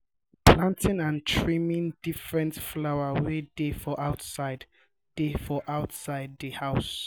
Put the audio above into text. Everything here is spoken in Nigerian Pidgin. planting and trimming different flowers wey dey for outside dey for outside di house